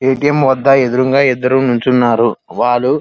ఏ. T. M వద్ద ఎదురుగా ఇద్దరు నుంచున్నారు. వాళ్లు --